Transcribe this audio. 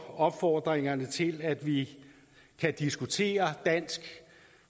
opfordringerne til at vi kan diskutere dansk